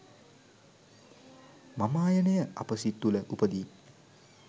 මමායනය අප සිත් තුළ උපදී.